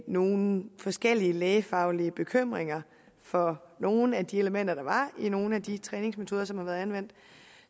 nogle forskellige lægefaglige bekymringer for nogle af de elementer der var i nogle af de træningsmetoder som har været anvendt